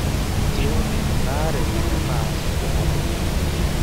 Keirobi ina are enaa enkinuku.